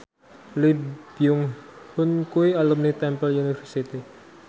Lee Byung Hun kuwi alumni Temple University